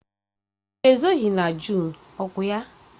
Mmiri ezoghị na Jụn, ọ kwa ya?